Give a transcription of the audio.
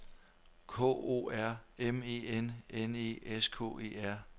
K O R M E N N E S K E R